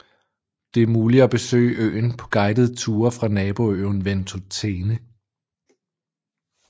Det er muligt at besøge øen på guidede ture fra naboøen Ventotene